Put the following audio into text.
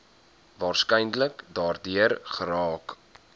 waarskynlik daardeur geraak